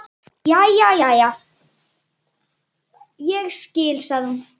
Jæja, ég skil, sagði hún.